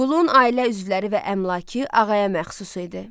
Qulun ailə üzvləri və əmlakı ağaya məxsus idi.